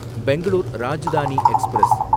Bangalore Rajdhani express